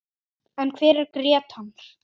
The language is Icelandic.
En hver er Grétar?